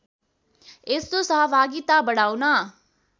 यस्तो सहभागिता बढाउन